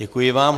Děkuji vám.